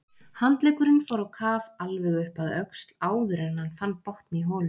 Handleggurinn fór á kaf alveg upp að öxl áður en hann fann botn í holunni.